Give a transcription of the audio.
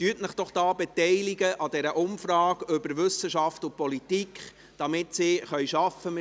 Beteiligen Sie sich doch an dieser Umfrage über Wissenschaft und Politik, damit sie arbeiten können.